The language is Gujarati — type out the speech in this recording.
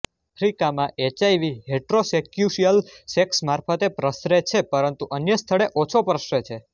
આફ્રિકામાં એચઆઇવી હેટેરોસેક્સ્યુઅલ સેક્સ મારફતે પ્રસરે છે પરંતુ અનય સ્થળે ઓછો પ્રસરે છે